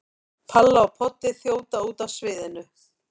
Palla og Poddi þjóta út af sviðinu.